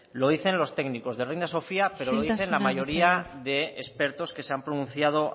lo dicen los técnicos del reina sofía pero lo dice la mayoría de expertos que se han pronunciado